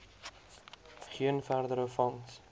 geen verdere vangs